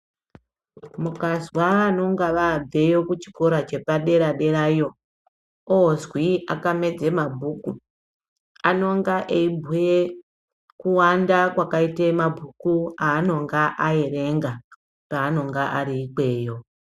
Mukazwa vanenga vabveyo kuchikora chepadera derayo ozwi akamedza mabhuku, anonga eibhuye kuwanda kwakaite mabhuku aanonga aerenga paanonga ari ikweyo.